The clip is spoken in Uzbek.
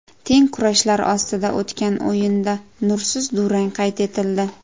Teng kurashlar ostida o‘tgan o‘yinda nursiz durang qayd etildi.